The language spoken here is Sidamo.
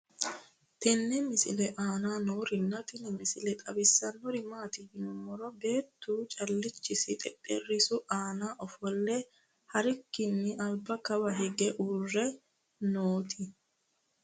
tenne misile aana noorina tini misile xawissannori maati yinummoro beettu calichchisi xexxerisu aanna ofolee harikkinni alibba kawa hiige uurre nnotti